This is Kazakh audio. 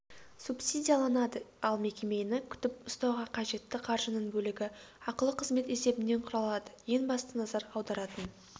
субсидияланады ал мекемені күтіп-ұстауға қажетті қаржының бөлігі ақылы қызмет есебінен құралады ең басты назар аударатын